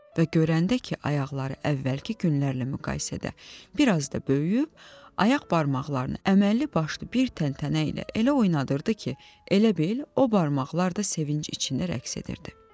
Və görəndə ki, ayaqları əvvəlki günlərlə müqayisədə bir az da böyüyüb, ayaq barmaqlarını əməlli başlı bir təntənə ilə elə oynadırdı ki, elə bil o barmaqlar da sevinc içində rəqs edirdi.